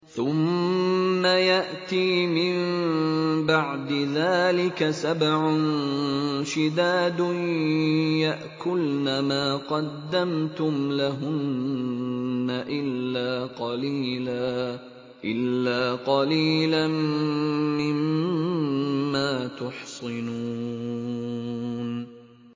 ثُمَّ يَأْتِي مِن بَعْدِ ذَٰلِكَ سَبْعٌ شِدَادٌ يَأْكُلْنَ مَا قَدَّمْتُمْ لَهُنَّ إِلَّا قَلِيلًا مِّمَّا تُحْصِنُونَ